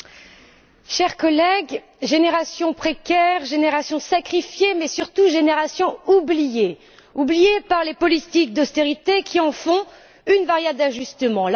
Monsieur le Président, chers collègues, génération précaire, génération sacrifiée, mais surtout, génération oubliée. Oubliée par les politiques d'austérité qui en font une variable d'ajustement.